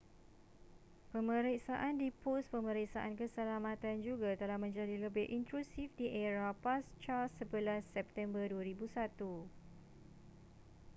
pemeriksaan di pos pemeriksaan keselamatan juga telah menjadi lebih intrusif di era pasca 11 september 2001